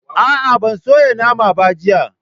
A'a, ban soya naman ba, jiya